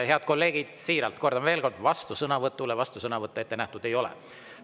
Head kolleegid, siiralt kordan veel kord: vastusõnavõtule vastusõnavõttu ette nähtud ei ole.